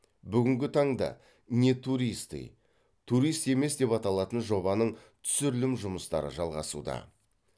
бүгінгі таңда не туристы турист емес деп аталатын жобаның түсірілім жұмыстары жалғасуда